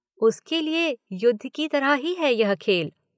उसके लिए युद्ध की तरह ही है यह खेल।